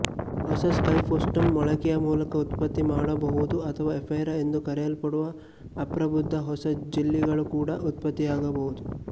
ಹೊಸ ಸ್ಕೈಫೋಸ್ಟೋಮ್ ಮೊಳಕೆಯ ಮೂಲಕ ಉತ್ಪತ್ತಿ ಮಾಡಬಹುದು ಅಥವಾ ಎಫೈರಾ ಎಂದು ಕರೆಯಲ್ಪಡುವ ಅಪ್ರಬುದ್ಧ ಹೊಸ ಜೆಲ್ಲಿಗಳೂ ಕೂಡ ಉತ್ಪತ್ತಿಯಾಗಬಹುದು